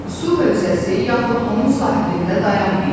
Su hövzəsi, yaxud onun sahilində dayanmayın.